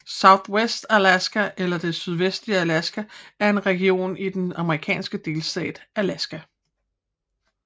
Southwest Alaska eller Det sydvestlige Alaska er en region i den amerikanske delstat Alaska